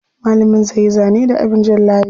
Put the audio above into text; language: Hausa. Malamin zai yi zane da abin jan layi.